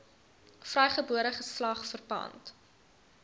vrygebore geslag verpand